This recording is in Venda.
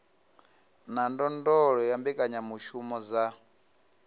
na ndondolo ya mbekanyamushumo dza